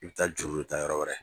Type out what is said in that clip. I bi taa juru de ta yɔrɔ wɛrɛ.